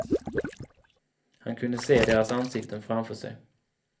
Han kunde se deras ansikten framför sig.